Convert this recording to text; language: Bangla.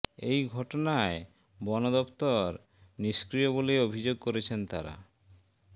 এই ঘটনায় বন দফতর নিষ্ক্রিয় বলে অভিযোগ করেছেন তাঁরা